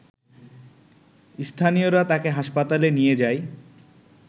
স্থানীয়রা তাকে হাসপাতালে নিয়ে যায়